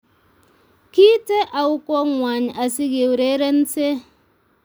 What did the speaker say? Kiite au kongway asigeurerense